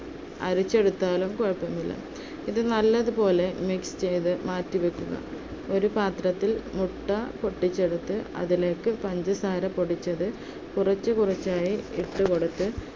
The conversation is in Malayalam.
അരിച്ചെടുത്താലും കുഴപ്പമില്ല. ഇത് നല്ലതുപോലെ mix ചെയ്ത് മാറ്റിവെക്കുക. ഒരു പാത്രത്തിൽ മുട്ട പൊട്ടിച്ചെടുത്ത് അതിലേക്ക് പഞ്ചസാര പൊടിച്ചത് കുറച്ചു കുറച്ചായി ഇട്ടുകൊടുത്ത്